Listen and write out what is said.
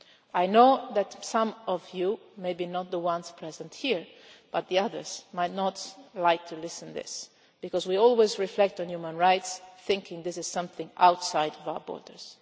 I know that some of you, maybe not those present here but others, might not like to hear this because we always reflect on human rights thinking this is something outside of our borders.